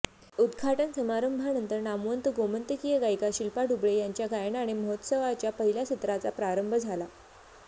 उद्घाटन समारंभानंतर नामवंत गोमंतकीय गायिका शिल्पा डुबळे यांच्या गायनाने महोत्सवाच्या पहिल्या सत्राचा प्रारंभ झाला